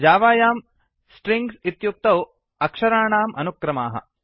जावायां strings इत्युक्तौ अक्षराणाम् अनुक्रमाः